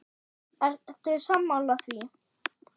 Eru sammála því?